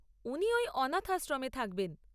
উনি ওই অনাথ আশ্রমে থাকবেন।